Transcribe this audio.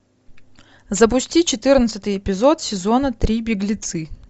запусти четырнадцатый эпизод сезона три беглецы